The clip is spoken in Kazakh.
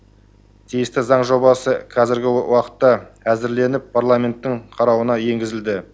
тиісті заң жобасы қазіргі уақытта әзірленіп парламенттің қарауына енгізілді